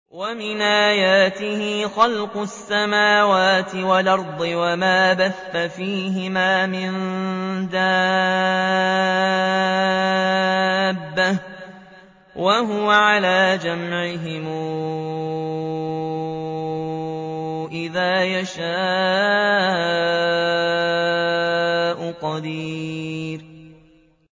وَمِنْ آيَاتِهِ خَلْقُ السَّمَاوَاتِ وَالْأَرْضِ وَمَا بَثَّ فِيهِمَا مِن دَابَّةٍ ۚ وَهُوَ عَلَىٰ جَمْعِهِمْ إِذَا يَشَاءُ قَدِيرٌ